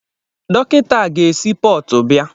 Dọkịta a ga-esi Portu bịa.